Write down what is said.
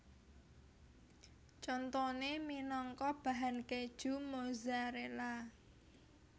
Contoné minangka bahan kèju Mozzarella